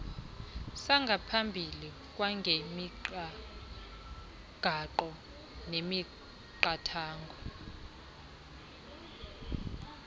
sangaphambili kwangemigaqo nemiqathango